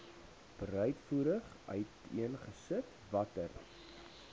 breedvoerig uiteengesit watter